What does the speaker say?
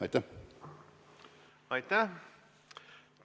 Aitäh!